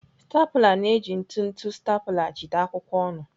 Stapụla na-eji ntụtụ staple jide akwụkwọ ọnụ.